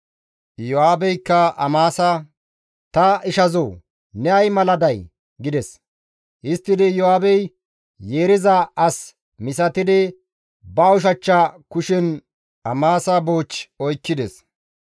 Iyo7aabeykka Amasa, «Ta ishazoo ne ay mala day?» gides; histtidi Iyo7aabey yeeriza as misatidi ba ushachcha kushen Amasa buuch oykkides.